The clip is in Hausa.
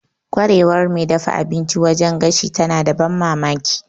Ƙwarewar mai dafa abinci wajen gashi tana da ban mamaki.